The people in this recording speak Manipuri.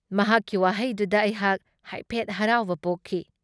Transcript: ꯃꯍꯥꯛꯀꯤ ꯋꯥꯥꯍꯩꯗꯨꯗ ꯑꯩꯍꯥꯛ ꯍꯥꯏꯐꯦꯠ ꯍꯔꯥꯎꯕ ꯄꯣꯛꯈꯤ꯫